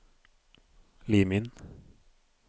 Lim inn